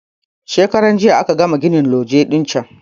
Shekaran jiya aka gama gina loje din can